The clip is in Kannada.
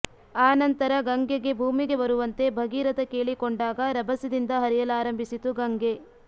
ಆನಂತರ ಗಂಗೆಗೆ ಭೂಮಿಗೆ ಬರುವಂತೆ ಭಗೀರಥ ಕೇಳಿಕೊಂಡಾಗ ರಭಸದಿಂದ ಹರಿಯಲಾರಂಭಿಸಿತು ಗಂಗೆ